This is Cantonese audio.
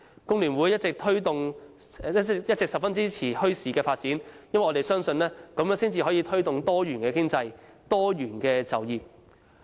工聯會一直十分支持發展墟市，因為我們相信這樣可以推動多元經濟、多元就業。